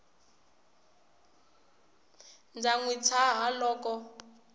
ndza n wi tshaha loko